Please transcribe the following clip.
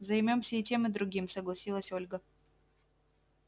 займёмся и тем и другим согласилась ольга